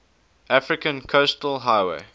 african coastal highway